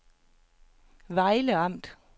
Vejle Amt